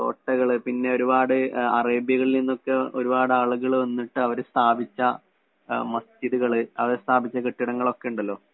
കോട്ടകള്‍. പിന്നെ ഒരുപാട് അറേബ്യകളില്‍ നിന്നൊക്കെ ഒരു പാട് ആളുകള്‍ വന്നിട്ട് അവര് സ്ഥാപിച്ച മസ്ജിദുകള്‍, അവര് സ്ഥാപിച്ച കെട്ടിടങ്ങളൊക്കെയുണ്ടല്ലോ.